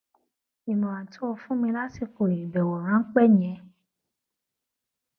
ìmòràn tó fún mi lásìkò ìbèwò ráńpé yẹn